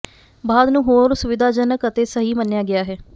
ਬਾਅਦ ਨੂੰ ਹੋਰ ਸੁਵਿਧਾਜਨਕ ਅਤੇ ਸਹੀ ਮੰਨਿਆ ਗਿਆ ਹੈ